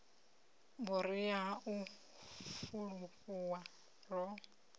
vhuria ha u fulufhuwa ro